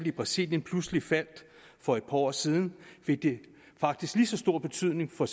i brasilien pludselig faldt for et par år side fik det faktisk lige så stor betydning for